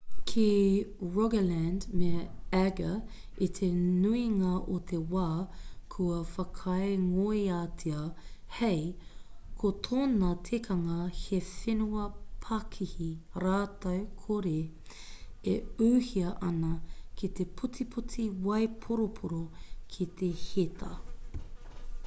ki rogaland me agder i te nuinga o te wā kua whakaingoatia hei ko tōna tikanga he whenua pakihi rākau kore e ūhia ana ki te putiputi waiporoporo ki te heta